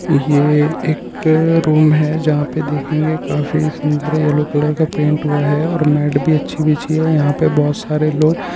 ये एक रूम है जहा पे देखेंगे काफी सूंदर है येल्लो कलर का पेंट हुआ है और मेट भी अछि बिछी है यहाँ पे बहुत सरे लोग- -